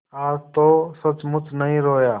आज तो सचमुच नहीं रोया